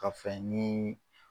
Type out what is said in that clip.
Ka fɛn nii